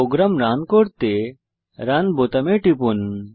programme run করতে run বোতামে click করুন